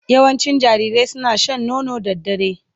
Yawancin jarirai suna shan nono da dare